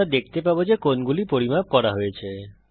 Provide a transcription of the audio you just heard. আমরা দেখতে পাবো যে কোণগুলি পরিমাপ করা হয়ে গেছে